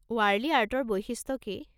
ৱাৰ্লি আৰ্টৰ বৈশিষ্ট্য কি?